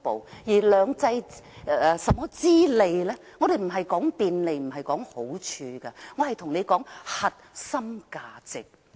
至於"兩制"之便，我們並非着眼於便利或好處，而是核心價值。